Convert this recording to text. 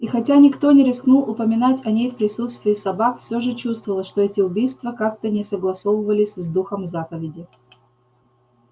и хотя никто не рискнул упоминать о ней в присутствии собак все же чувствовалось что эти убийства как-то не согласовывались с духом заповеди